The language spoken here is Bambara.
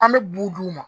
An bɛ bu d'u ma